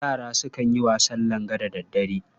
Yara sukan yin wasan langa da daddare.